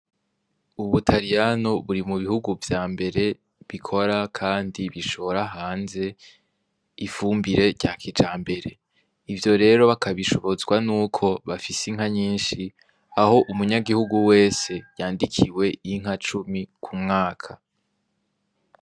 Ubutariyano buri mu bihugu vyambere bikora kandi bishora hanze ifumbire rya kijambere, ivyo rero bakabishobozwa nuko bafise inka nyinshi, aho umuyangihugu wese yandikiwe inka cumi ku mwaka.